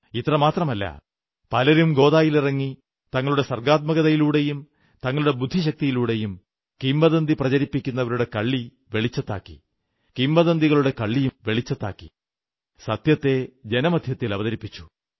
ഇത്രമാത്രമല്ല പലരും ഗോദായിലിറങ്ങി തങ്ങളുടെ സർഗ്ഗാത്മകതയിലൂടെയും തങ്ങളുടെ ബുദ്ധിശക്തിയിലൂടെയും കിംവദന്തി പ്രചരിപ്പിക്കുന്നവരുടെ കള്ളി വെളിച്ചത്താക്കി കിംവദന്തികളുടെ കള്ളിയും വെളിച്ചത്താക്കി സത്യത്തെ ജനമധ്യത്തിൽ അവതരിപ്പിച്ചു